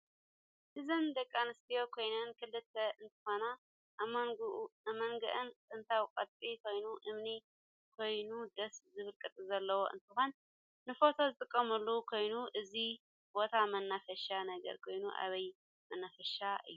እዚን ደቂ ኣንስትዮ ኮይነን ክልተ እንትኮና ኣብ መንጎኢ ጥንታዊ ቅርስ ኮይኑ እምኒ ኮይኑ ደስ ዝብል ቅርፂ ዘለዎ እንትኮን ንፎቶ ዝጥቀማሉ ኮይኒ እዚ በታ መናፈሻ ነገር ኮይኑ ኣብይ መናፈሻ እዩ?